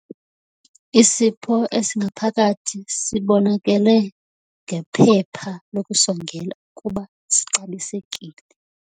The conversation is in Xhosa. Isipho esingaphakathi sibonakele ngephepha lokusongela ukuba sixabisekile.